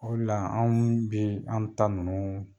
O de la anw bi an ta nunnu